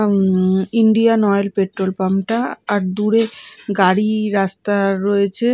উঁম Indian oil petrol pump -টা আর দূরে গাড়ি রাস্তা রয়েছে।